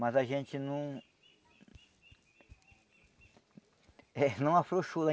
Mas a gente não... eh não afrouxou lá.